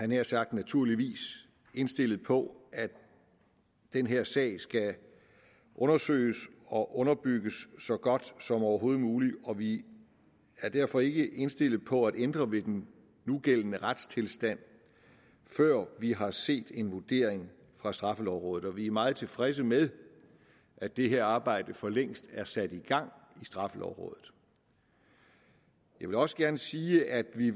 nær sagt naturligvis indstillet på at den her sag skal undersøges og underbygges så godt som overhovedet muligt og vi er derfor ikke indstillet på at ændre ved den nugældende retstilstand før vi har set en vurdering fra straffelovrådet vi er meget tilfredse med at det her arbejde for længst er sat i gang i straffelovrådet jeg vil også gerne sige at vi